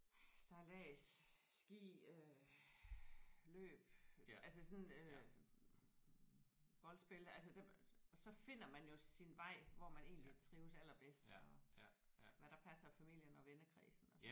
Sejlads ski øh løb altså sådan øh voldspil altså der så finder man jo sin vej hvor man egentlig trives allerbedst og hvad der passer familien og vennekredsen og